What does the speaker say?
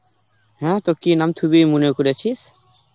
অ্যাঁ তো কি নাম থুবি মনে করেছিস?